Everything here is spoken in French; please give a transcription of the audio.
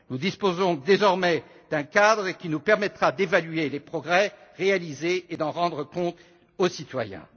Nous disposons désormais d'un cadre qui nous permettra d'évaluer les progrès réalisés et d'en rendre compte aux citoyens.